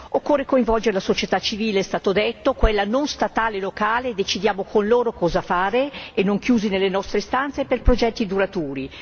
Occorre coinvolgere la società civile è stato detto, quella non statale locale, e decidiamo con loro cosa fare e non chiusi nelle nostre stanze per progetti duraturi.